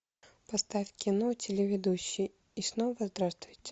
поставь кино телеведущий и снова здравствуйте